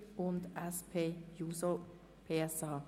Sie haben eine Stichentscheid-Situation geschaffen.